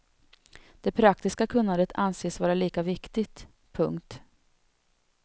Det praktiska kunnandet anses vara lika viktigt. punkt